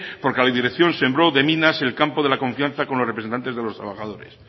porque la dirección sembró de minas el campo de la confianza con los representantes de los trabajadores